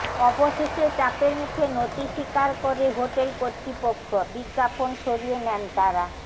অবশেষে চাপের মুখে নতি স্বীকার করে হোটেল কর্তৃপক্ষ বিজ্ঞাপন সরিয়ে নেন তাঁরা